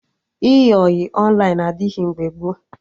Ịyị ọyị Ọnlaịn adịghị mgbe gboo